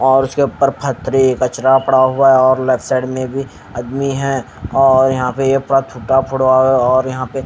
और उसके ऊपर फथरी कचरा पड़ा हुआ है और लेफ्ट साइड में भी आदमी है और यहाँ पे ये पूरा थूटा फटा है और यहाँ पे --